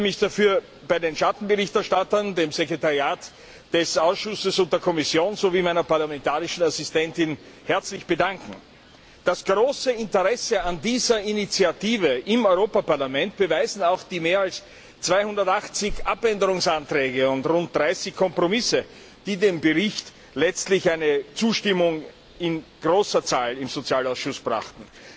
Ich möchte mich dafür bei den Schattenberichterstattern, dem Sekretariat des Ausschusses und der Kommission sowie meiner parlamentarischen Assistentin herzlich bedanken. Das große Interesse an dieser Initiative im Europäischen Parlament beweisen auch die mehr als 280 Änderungsanträge und rund 30 Kompromissänderungsanträge, die dem Bericht letztlich eine Zustimmung in großer Zahl im Sozialausschuss brachten.